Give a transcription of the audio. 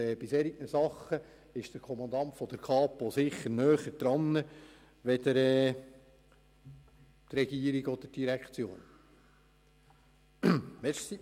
Bei solchen Fällen ist der Kommandant der Kapo sicherlich näher am Geschehen als die Regierung oder die Direktionen.